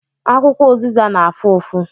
Akwụkwọ ụzịza na-afụ ụfụ